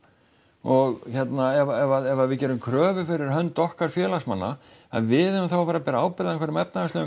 og hérna ef að við gerum kröfu fyrir hönd okkar félagsmanna að við eigum þá að vera að bera ábyrgð á einhverjum efnahagslegum